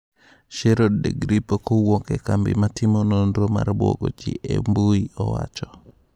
Sherrod degrippo kowuok e kambi ma timo nonro mar bwogo ji e mbuyi owacho.